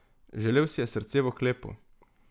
Želel si je srce v oklepu.